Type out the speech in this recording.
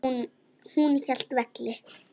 Hún hélt velli.